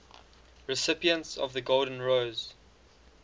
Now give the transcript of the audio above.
recipients of the golden rose